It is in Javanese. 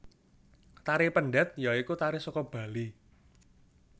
Tari Pendet ya iku tari saka Bali